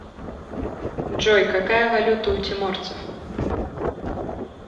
джой какая валюта у тиморцев